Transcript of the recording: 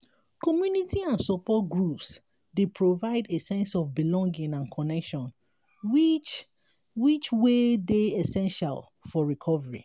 community and support groups dey provide a sense of belonging and connection which which wey dey essential for recovery.